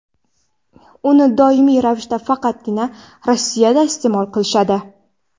Uni doimiy ravishda faqatgina Rossiyada iste’mol qilishadi.